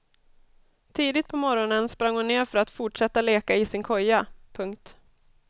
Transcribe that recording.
Tidigt på morgonen sprang hon ner för att fortsätta leka i sin koja. punkt